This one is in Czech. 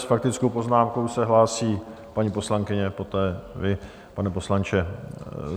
S faktickou poznámkou se hlásí paní poslankyně, poté vy, pane poslanče.